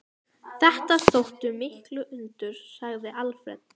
Þetta þóttu mikil undur, segir Alfreð.